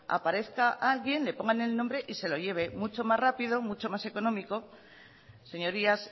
aparezca alguien le pongan el nombre y se lo lleven mucho más rápido mucho más económico señorías